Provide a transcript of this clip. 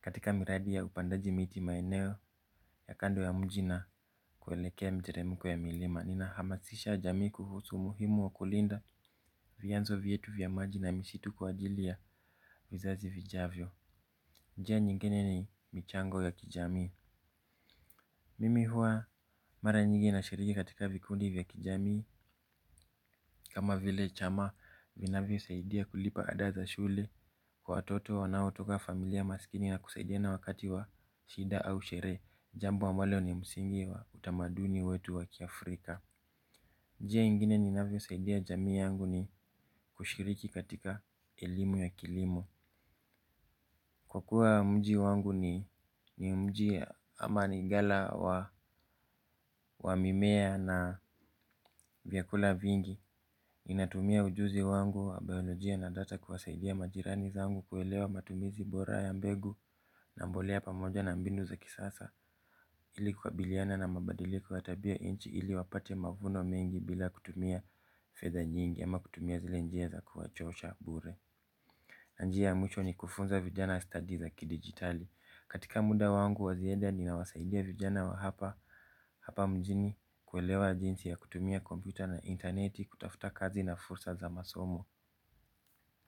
katika miradi ya upandaji miti maeneo, ya kando ya mji na kuelekea miteremiko ya milima. Nina hamasisha jamii kuhusu umuhimu wa kulinda, vianzo vyetu vya maji na misitu kwa ajili ya wizazi vijavyo. Njia nyingine ni, michango ya kijamii. Mimi huwa, mara nyingi na shiriki katika vikundi ya kijamii. Kama vile chama vinavyo saidia kulipa adaa za shule, kwa watoto wanao toka familia maskini na kusaidiana wakati wa shida au sherehe, jambo ambalo ni msingi wa utamaduni wetu wa kiafrika. Njia ingine ninavyo saidia jamii yangu ni, kushiriki katika elimu ya kilimo. Kwa kuwa mji wangu, ni mji ama ni gala wa mimea na vyakula vingi. Inatumia ujuzi wangu wa biolojia na data kuwasaidia majirani zangu kuelewa matumizi bora ya mbegu. Na mbolea pamoja na mbinu za kisasa, ili kukabiliana na mabadiliko ya tabia inch ili wapate mavuno mengi bila kutumia fedha nyingi ama kutumia zile njia za kuwachosha bure. Na njia ya mwisho ni kufunza vijana stadi za kidigitali. Katika wangu wa ziada nina wasaidia vijana wa hapa, hapa mjini kuelewa jinsi ya kutumia komputa na intaneti kutafutakazi na fursa. Za masomo.